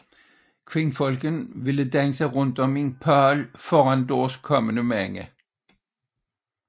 Kvinderne ville danse rundt om en pæl foran deres kommende mænd